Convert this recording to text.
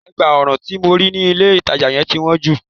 Ẹ̀gbá ọrùn tí mo rí ní ilé ìtajà yẹn ti wọ́n jù.